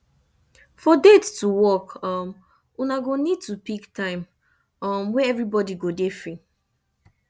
for date to work um una go need to pick time um wey everybody go dey free